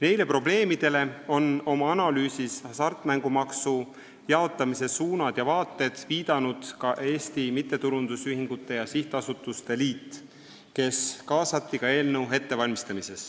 Neile probleemidele on oma analüüsis "Hasartmängumaksu jaotamise suunad ja vaated" viidanud ka Eesti Mittetulundusühingute ja Sihtasutuste Liit, kes kaasati ka eelnõu ettevalmistamisse.